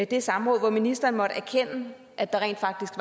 det samråd hvor ministeren måtte erkende at der rent faktisk